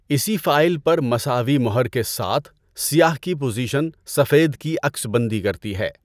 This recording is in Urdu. اسی فائل پر مساوی مہر کے ساتھ، سیاہ کی پوزیشن سفید کی عکس بندی کرتی ہے۔